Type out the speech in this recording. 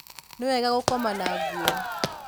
nĩ wega gũkoma na nguo